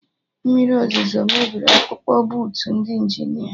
Mmiri ọzụzo mebiri akpụkpụ bootu ndị Injinia